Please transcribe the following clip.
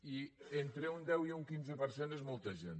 i entre un deu i un quinze per cent és molta gent